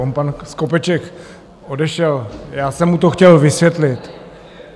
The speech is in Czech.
On pan Skopeček odešel, já jsem mu to chtěl vysvětlit.